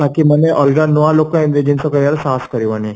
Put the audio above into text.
ଟେକି ମାନେ ଅଲଗା ନୂଆ ଲୋକ ଏମିତି ଜିନିଷ କରିବାର ସାହସ କରିବନି